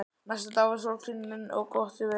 Næsta dag var sólskin og gott veður.